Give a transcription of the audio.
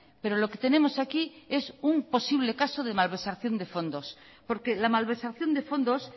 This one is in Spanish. pero lo que tenemos aquí es un posible caso de malversación de fondos porque la malversación de fondos